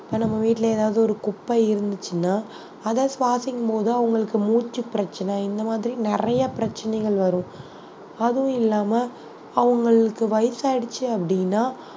இப்ப நம்ம வீட்டுல ஏதாவது ஒரு குப்பை இருந்துச்சுன்னா அதை சுவாசிக்கும் போது அவங்களுக்கு மூச்சு பிரச்சனை இந்த மாதிரி நிறைய பிரச்சனைகள் வரும் அதுவும் இல்லாம அவங்களுக்கு வயசாயிடுச்சு அப்படின்னா